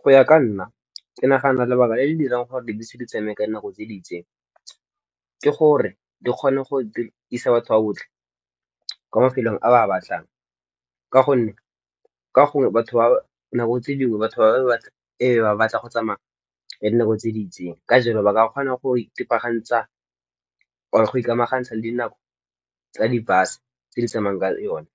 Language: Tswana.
Go ya ka nna ke nagana lebaka le le dirang gore dibese di tsamaye ka nako tse di itseng, ke gore di kgone go isa batho ba botlhe kwa mafelong a ba a batlang. Ka gonne nako tse dingwe batho e be ba batla go tsamaya ka nako tse di itseng. Ka jalo, ba ka kgona go itebagantsa or go ikamangantsa le dinako tsa di bus tse di tsamayang ka yone.